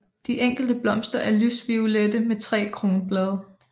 De enkelte blomster er lysviolette med tre kronblade